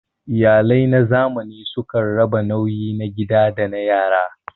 Iyalai na zamani sukan raba nauyi na gida da na yara.